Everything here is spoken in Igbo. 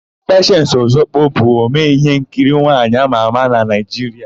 Pechensi Ọzọkwọ bụ omee íhénkiri nwaanyị ámà ámà na Naịjiria.